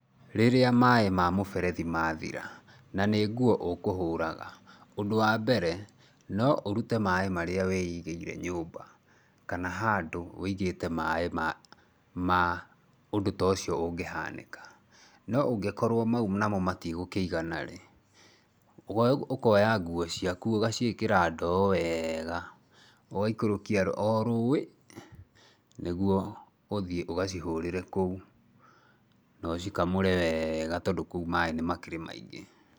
Rĩrĩa maĩ ma mũberethi mathira na nĩ nguo ũkũhũraga, ũndũ wa mbere no ũrute maĩ marĩa wĩigĩire nyũmba kana handũ wĩigĩte maĩ ma ma ũndu ta ũcio ũngĩhanĩka. No ũngĩkorũo mau namo matigũkĩigana rĩ, ũkoya nguo ciaku ũgaciĩkira ndoo weega ũgaikũrũkia o rũĩ, nĩguo ũthiĩ ũgacihũrĩre kũu na ũcikamũre weega tondũ kũu maĩ nĩmakĩrĩ maingĩ.